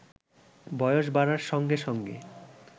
বয়স বাড়ার সঙ্গে সঙ্গে